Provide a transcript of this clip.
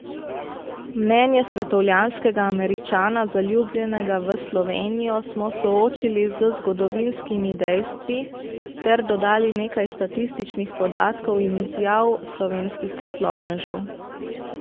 Mnenje svetovljanskega Američana, zaljubljenega v Slovenijo, smo soočili z zgodovinskimi dejstvi ter dodali nekaj statističnih podatkov in izjav slovenskih poslovnežev.